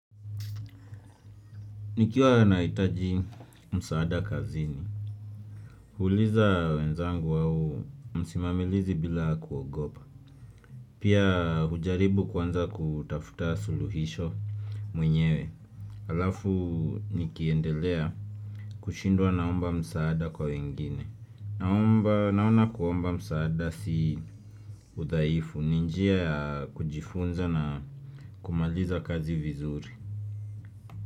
Nikiwa nahitaji msaada kazini. Huuliza wenzangu wao, msimamilizi bila kuogopa. Pia hujaribu kwanza kutafuta suluhisho mwenyewe. Halafu nikiendelea kushindwa naomba msaada kwa wengine. Naomba, naona kuomba msaada si udhaifu, ni njia ya kujifunza na kumaliza kazi vizuri.